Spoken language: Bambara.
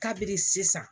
Kabi sisan